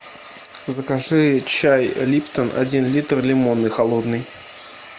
закажи чай липтон один литр лимонный холодный